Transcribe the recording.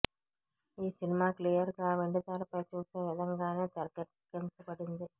ఈ cinema clear గా వెండితెర పై చూసే విధంగానే తెరకెక్కించబడింది